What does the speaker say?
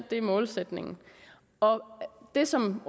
det er målsætningen og det som